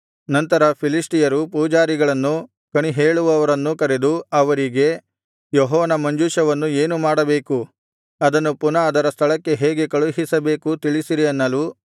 ನಂತರ ಫಿಲಿಷ್ಟಿಯರು ಪೂಜಾರಿಗಳನ್ನೂ ಕಣಿಹೇಳುವವರನ್ನೂ ಕರೆದು ಅವರಿಗೆ ಯೆಹೋವನ ಮಂಜೂಷವನ್ನು ಏನು ಮಾಡಬೇಕು ಅದನ್ನು ಪುನಃ ಅದರ ಸ್ಥಳಕ್ಕೆ ಹೇಗೆ ಕಳುಹಿಸಬೇಕು ತಿಳಿಸಿರಿ ಅನ್ನಲು